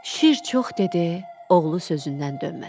Şir çox dedi, oğlu sözündən dönmədi.